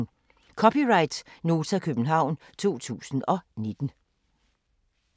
(c) Nota, København 2019